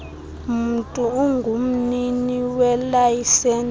mntu ungumnini welayisenisi